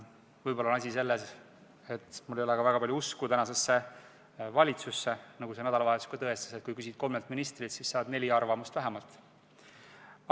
Võib-olla on asi selles, et meil ei ole väga palju usku tänasesse valitsusse, nagu see nädalavahetus ka tõestas: kui küsid kolmelt ministrilt, siis saad neli arvamust vähemalt.